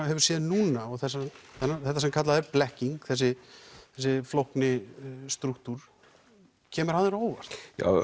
hefur séð núna og þetta sem kallað er blekking þessi flókni strúktúr kemur hann þér á óvart